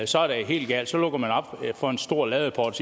så er det helt galt så lukker man op for en stor ladeport